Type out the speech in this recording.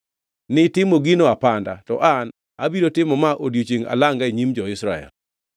Nitimo gino apanda, to an abiro timo ma odiechiengʼ alanga e nyim jo-Israel.’ ”